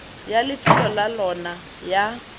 ya lefelo la lona ya